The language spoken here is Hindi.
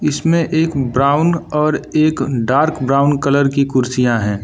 इसमें एक ब्राउन और एक डार्क ब्राउन कलर की कुर्सियां है।